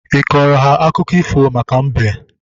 Ịkọrọ ha akụkọ ifo maka mbe?